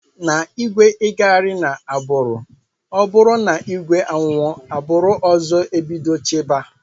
Na igwe igaghari na agburu ọburu na igwe anwụọ agburu ọzọ ebido chiba.